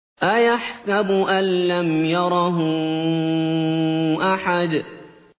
أَيَحْسَبُ أَن لَّمْ يَرَهُ أَحَدٌ